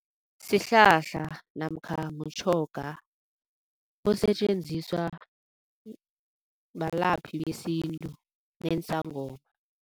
Sihlahla namkha mtjhoga osetjenziswa balaphi besintu neensangoma.